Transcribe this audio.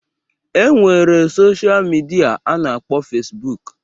E nwere sosha midia a na-akpọ Fesbụụk